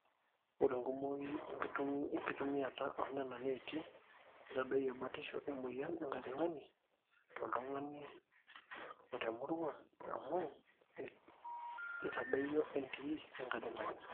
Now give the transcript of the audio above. ore enkumuoi enkitumiata oonena neeti neitadoyio batishu emweyian enkajang'ani toltung'ani o temurrua amu eitadoyio entii enkajang'ani